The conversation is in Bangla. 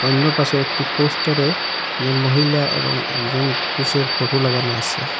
অন্য পাশে একটি পোস্টারে একজন মহিলা এবং একজন পুরুষের ফটো লাগানো আসে।